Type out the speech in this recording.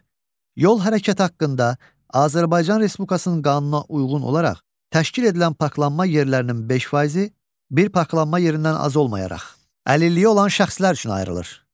Yol hərəkət haqqında Azərbaycan Respublikasının qanununa uyğun olaraq təşkil edilən parklanma yerlərinin 5 faizi, bir parklanma yerindən az olmayaraq, əlilliyi olan şəxslər üçün ayrılır.